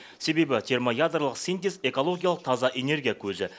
себебі термоядролық синтез экологиялық таза энергия көзі